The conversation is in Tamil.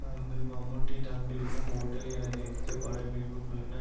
அங்கு மம்முட்டி தங்கியிருக்கும் ஹோட்டல் என நினைத்து பட பிடிப்பு குழுவினர்